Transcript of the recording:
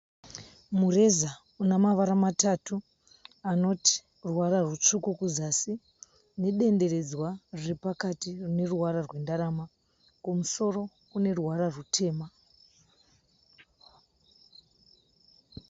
Mureza unemavara matatu anotiruvata rutsvuku kuzasi, nedenderedzwa riripakati rineruvara rwendarama, kumusoro kuneruvara rwutema.